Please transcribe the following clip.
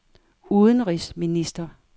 udenrigsminister